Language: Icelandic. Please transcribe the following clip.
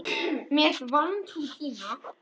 Með vantrú þína.